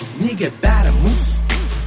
неге бәрі мұз